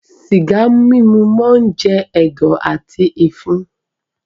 Sìgá mímu máá ń jẹ̀dọ̀ àti ìfun.